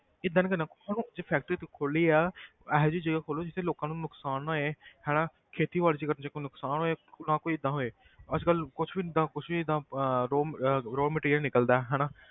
ਏਦਾਂ ਨੀ ਹੁਣ ਜੇ factory ਖੋਲੀ ਆ ਇਹੋ ਜਿਹੀ ਜਗ੍ਹਾ ਖੋਲੋ ਜਿੱਥੇ ਲੋਕਾਂ ਨੂੰ ਨੁਕਸਾਨ ਨਾ ਹੋਏ ਹਨਾ ਖੇਤੀਬਾੜੀ 'ਚ ਅਗਰ ਜੇ ਕੋਈ ਨੁਕਸਾਨ ਹੋਏ ਨਾ ਕੋਈ ਏਦਾਂ ਹੋਏ ਅੱਜ ਕੱਲ੍ਹ ਕੁਛ ਵੀ ਜਿੱਦਾਂ ਕੁਛ ਵੀ ਜਿੱਦਾਂ ਅਹ raw ਅਹ raw material ਨਿਕਲਦਾ ਹੈ ਹਨਾ,